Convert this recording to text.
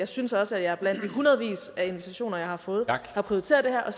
synes også at jeg blandt de hundredvis af invitationer jeg har fået har prioriteret det her og